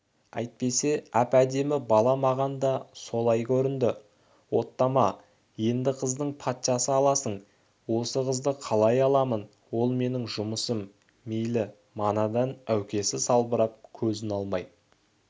әйтпесе әп-әдемі бала маған да солай көрінді оттама енді қыздың патшасы аласың осы қызды қалай аламын ол менің жұмысым мейлің манадан әукесі салбырап көзін алмай